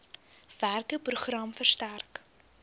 werke program versterk